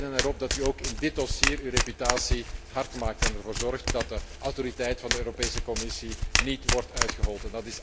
We rekenen erop dat u ook in dit dossier uw reputatie hard maakt en ervoor zorgt dat de autoriteit van de Europese Commissie niet wordt uitgehold.